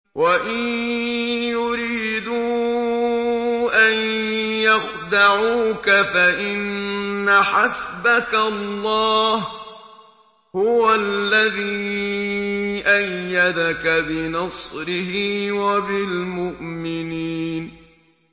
وَإِن يُرِيدُوا أَن يَخْدَعُوكَ فَإِنَّ حَسْبَكَ اللَّهُ ۚ هُوَ الَّذِي أَيَّدَكَ بِنَصْرِهِ وَبِالْمُؤْمِنِينَ